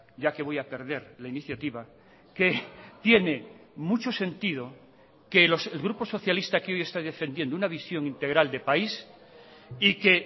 ya que voy a perder la iniciativa que tiene mucho sentido que el grupo socialista que hoy está defendiendo una visión integral de país y que